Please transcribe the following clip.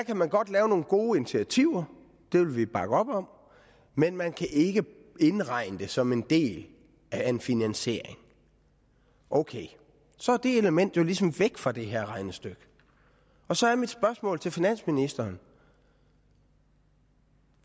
kan man godt lave nogle gode initiativer dem vil vi bakke op om men man kan ikke indregne dem som en del af en finansiering ok så er det element jo ligesom væk fra det her regnestykke og så er mit spørgsmål til finansministeren